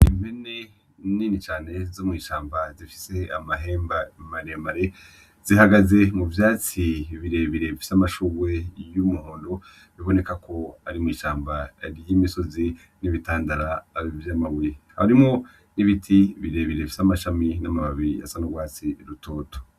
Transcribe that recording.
Impene nini cane zo mw'ishamba zifise amahembe maremare zihagaze, mu vyatsi birebire bifise amashugwe y'umuhondo biboneka ko ari mw'ishamba ry'imisozi n'ibitandara vy'amabuye harimwo n'ibiti birebire bifise amashami n'amababi asa n'ugwatsi rutoto.